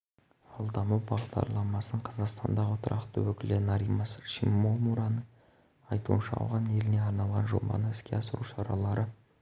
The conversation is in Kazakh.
ал даму бағдарламасының қазақстандағы тұрақты өкілі норимас шимомураның айтуынша ауған еліне арналған жобаны іске асыру шаралары